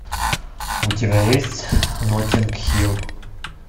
у тебя есть ноттинг хилл